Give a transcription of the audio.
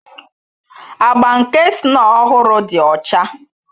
Agba nke snow ọhụrụ dị ọcha